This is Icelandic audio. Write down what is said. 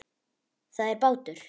Það er bátur.